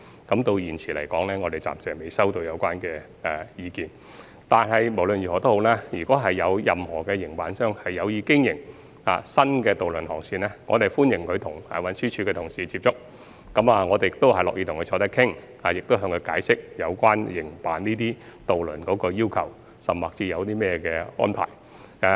我們至今暫時未接獲有關意見，但無論如何，如果有任何營辦商有意經營新的渡輪航線，我們歡迎他們接觸運輸署的同事，運輸署的同事亦樂意與他們坐下來商討，並會解釋營辦有關航線的要求或安排。